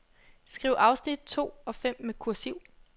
Skriv afsnit to og fem med kursiv.